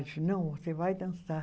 Eu disse, não, você vai dançar.